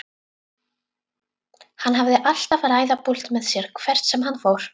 Hann hafði alltaf ræðupúlt með sér hvert sem hann fór.